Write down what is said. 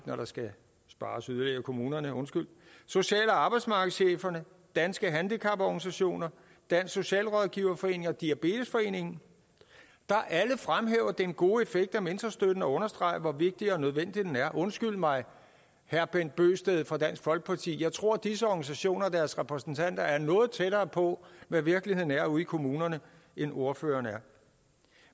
når der skal spares yderligere i kommunerne undskyld social og arbejdsmarkedscheferne danske handicaporganisationer dansk socialrådgiverforening og diabetesforeningen der alle fremhæver den gode effekt af mentorstøtte og understreger hvor vigtig og nødvendig den er undskyld mig herre bent bøgsted fra dansk folkeparti jeg tror at disse organisationer og deres repræsentanter er noget tættere på hvad virkeligheden er ude i kommunerne end ordføreren er